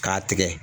K'a tigɛ